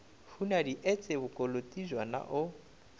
hunadi etse bokoloti bjona o